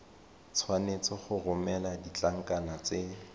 tshwanetse go romela ditlankana tse